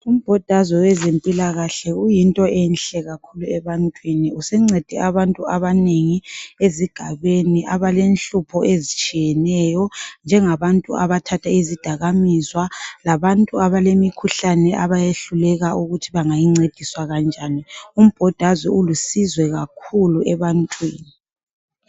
Umbodazwe wezempilakahle uyinto enhle kakhulu ebantwini, usuncede abantu abanengi ezigabeni abalenhlupho ezitshiyeneyo njengabantu abathatha izidakaminzwa labantu abalemikhuhlane abayehluleka ukuthi bengayincediswa kanjani. Umbhodazwe ulusizo kakhulu ebantwini.